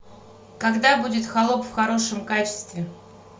когда будет холоп в хорошем качестве